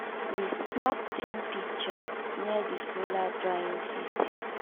we snap team picture near di solar drying system.